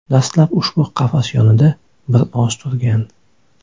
Dastlab ushbu qafas yonida bir oz turgan.